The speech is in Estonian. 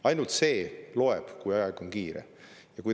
Ainult see loeb, kui aega on.